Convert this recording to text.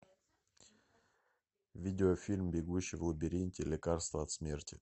видеофильм бегущий в лабиринте лекарство от смерти